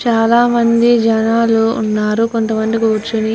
చాల మంది జనాలు ఉన్నారు. కొంత మంది కూర్చుని --